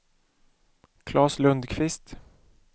Klas Lundkvist